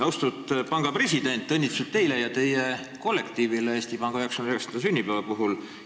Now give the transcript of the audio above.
Austatud panga president, õnnitlused teile ja teie kollektiivile Eesti Panga 99. sünnipäeva puhul!